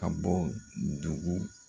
Ka bɔ dugu